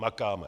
Makáme.